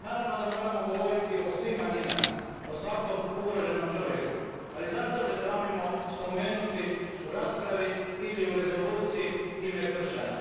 Naravno da moramo govoriti o svim manjinama, o svakom ugroženom čovjeku, ali zašto se sramimo spomenuti u raspravi ili u rezoluciji ime kršćana?